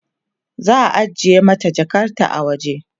za'a ajiye mata Jakarta a waje